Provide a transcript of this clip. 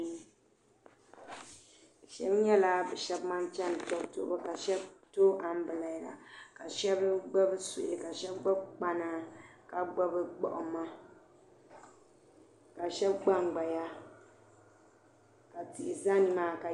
shab nyɛla ban chɛni tobu tuhubu ka shab gbubi anbirɛla ka shab gbubi suhi ka shab gbubi kpana ka gbubi gbuɣuma ka shab gbangbaya ka tihi ʒɛ nimaani ka